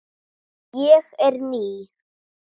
Ég er ný.